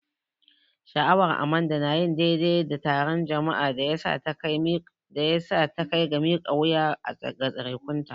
Sha'awar Amanda na yin daidai da taron jama'a ya sa ta kai ga mika wuya ga tsarekunta.